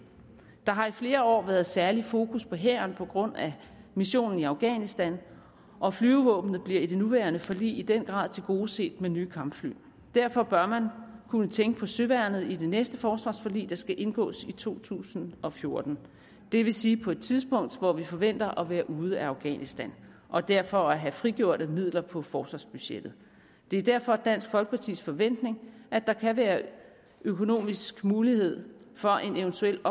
der har i flere år været særlig fokus på hæren på grund af missionen i afghanistan og flyvevåbnet bliver i det nuværende forlig i den grad tilgodeset med nye kampfly derfor bør man kunne tænke på søværnet i det næste forsvarsforlig der skal indgås i to tusind og fjorten det vil sige på et tidspunkt hvor vi forventer at være ude af afghanistan og derfor vil have frigjorte midler på forsvarsbudgettet det er derfor dansk folkepartis forventning at der kan være økonomisk mulighed for en eventuel